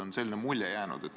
On selline mulje jäänud.